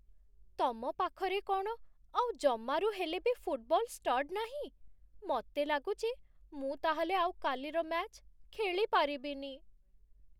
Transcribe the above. ତମ ପାଖରେ କ'ଣ ଆଉ ଜମାରୁ ହେଲେ ବି ଫୁଟବଲ ଷ୍ଟଡ୍ ନାହିଁ? ମତେ ଲାଗୁଛି ମୁଁ ତା'ହେଲେ ଆଉ କାଲିର ମ୍ୟାଚ୍ ଖେଳିପାରିବିନି ।